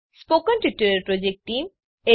spoken tutorial project team